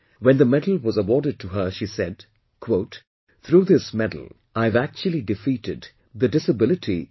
When the medal was awarded to her, she said "Through this medal I have actually defeated the disability itself